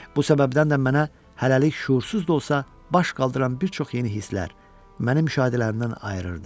Bu səbəbdən də mənə hələlik şüursuz da olsa baş qaldıran bir çox yeni hisslər mənim müşahidələrimdən ayırırdı.